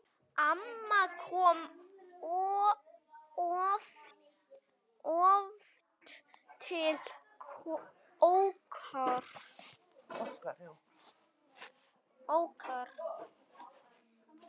Amma kom oft til okkar.